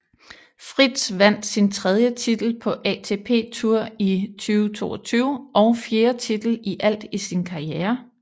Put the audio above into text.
Fritz vandt sin tredje titel på ATP Tour i 2022 og fjerde titel i alt i sin karriere